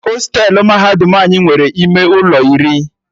Hostelu mahadum anyị nwere ime ụlọ iri